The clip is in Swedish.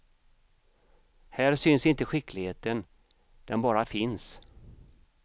Här syns inte skickligheten, den bara finns.